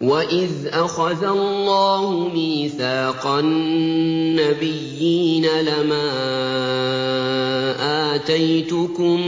وَإِذْ أَخَذَ اللَّهُ مِيثَاقَ النَّبِيِّينَ لَمَا آتَيْتُكُم